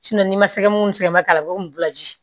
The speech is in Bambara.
n'i ma sɛgɛ n'u sɛgɛnba k'a la u b'o bila ji